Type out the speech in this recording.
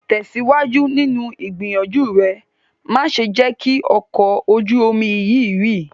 Tesiwaju ninu igbiyanju re! Ma ṣe jẹ ki ọkọ ojú omi yii rì